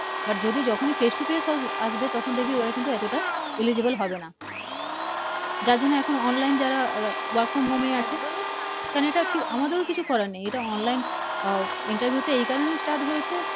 But যদি যখনি Face to Face আসবে তখন দেখবি ওতটা Eligible হবে না যার জন্য Online যারা Work from Home এ আছে কেন না আমাদেরি কিছু করার নেই OnlineInterview টা এই কারনে Start হয়েছে